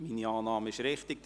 – Meine Annahme ist richtig.